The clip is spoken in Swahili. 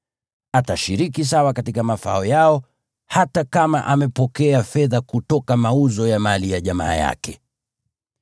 Atashiriki sawa katika mafao yao, hata kama amepokea fedha kutoka mauzo ya mali ya jamaa yake.